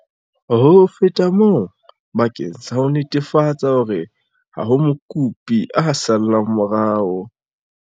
Ho feta moo, bakeng sa ho netefatsa hore ha ho mokopi a sallang morao.